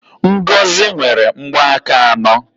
Ngozi nwere mgbanaka anọ